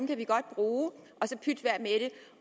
kan vi godt bruge